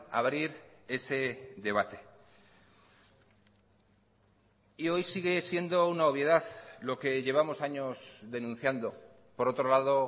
abrir ese debate y hoy sigue siendo una obviedad lo que llevamos años denunciando por otro lado